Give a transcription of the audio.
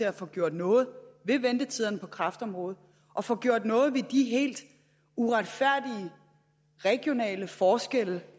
at få gjort noget ved ventetiderne på kræftområdet og få gjort noget ved de helt uretfærdige regionale forskelle